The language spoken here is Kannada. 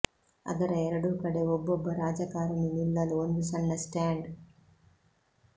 ಅದರ ಎರಡೂ ಕಡೆ ಒಬ್ಬೊಬ್ಬ ರಾಜಕಾರಣಿ ನಿಲ್ಲಲು ಒಂದು ಸಣ್ಣ ಸ್ಟಾಂಡ್